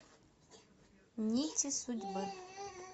нити судьбы